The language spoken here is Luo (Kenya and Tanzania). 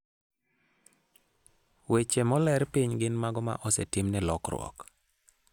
Weche moler piny gin mago ma osetimne lokruok.